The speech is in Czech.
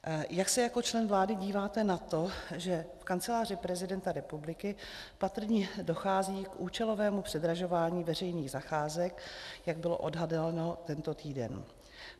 Jak se jako člen vlády díváte na to, že v Kanceláři prezidenta republiky patrně dochází k účelovému předražování veřejných zakázek, jak bylo odhaleno tento týden?